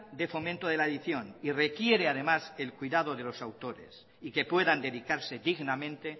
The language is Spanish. de fomento de la edición y requiere además el cuidado de los autores y que puedan dedicarse dignamente